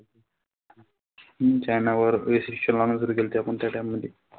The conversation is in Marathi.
चायनावर विशेष आपण त्या time मधी.